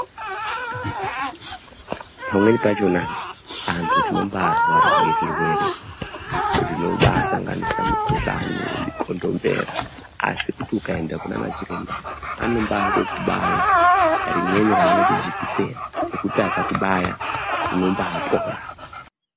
Pamweni pachona antu tinombarwara ngezvirwere zvinobasanganisira mukhuhlani mikondimbera asi kuti ukaenda kunana chiremba anombaMbokubaya rimweni raanoti jikiseni rekuti akakubaya unombapora.